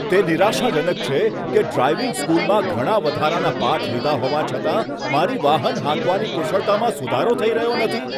તે નિરાશાજનક છે કે ડ્રાઇવિંગ સ્કૂલમાં ઘણા વધારાના પાઠ લીધા હોવા છતાં, મારી વાહન હાંકવાની કુશળતામાં સુધારો થઈ રહ્યો નથી.